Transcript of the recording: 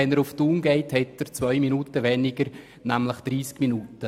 Fährt er nach Thun, braucht er zwei Minuten weniger, nämlich 30 Minuten.